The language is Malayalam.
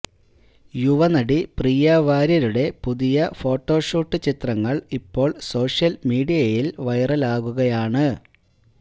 യുവനടി പ്രിയാ വാര്യയുടെ പുതിയ ഫോട്ടോഷൂട്ട് ചിത്രങ്ങൾ ഇപ്പോൾ സോഷ്യൽ മീഡിയയിൽ വൈറലാകുകയാണ്